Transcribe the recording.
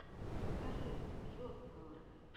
покажи жоского